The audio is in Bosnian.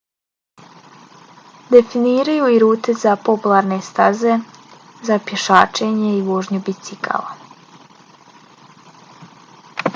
definiraju i rute za popularne staze za pješačenje i vožnju bicikla